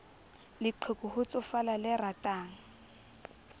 leqheku ho tsofala le ratang